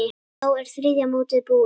Þá er þriðja mótið búið.